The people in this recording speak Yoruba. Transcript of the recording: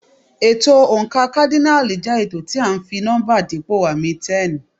Ètò oǹkà kádínààlì jẹ́ ètò tí à ń fi nọ́mbà dípò àmì 10.